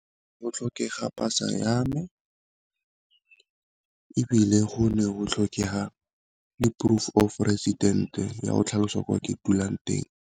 Go tlhokega pasa yame, ebile go ne go tlhokega le proof of resident ya go tlhalosa kwa ke dulang teng.